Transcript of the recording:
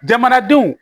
Jamanadenw